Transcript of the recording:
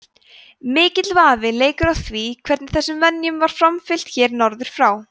mikill vafi leikur á því hvernig þessum venjum var framfylgt hér norður frá